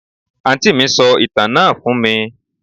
Àǹtí mí sọ ìtàn náà fún mí